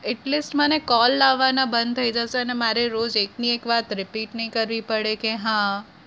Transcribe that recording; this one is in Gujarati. at least મને call આવવાના બંધ થઇ જશે અને મારે રોજ એકની એક વાત repeat કરવી નઈ પડે કે હા